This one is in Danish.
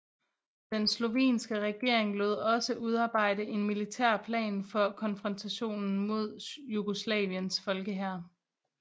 Den slovenske regering lod også udarbejde en militær plan for konfrontation med Jugoslaviens Folkehær